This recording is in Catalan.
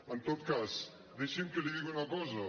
en tot cas deixi’m que li digui una cosa